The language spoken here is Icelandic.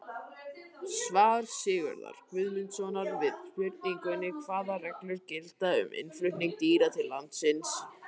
Svar Sigurðar Guðmundssonar við spurningunni Hvaða reglur gilda um innflutning dýra til landsins?